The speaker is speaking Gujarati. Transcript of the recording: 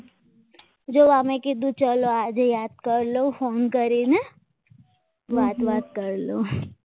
જો આ મેં કીધું આજે યાદ કરી લો phone કરીને વાત બાત કર લો લવ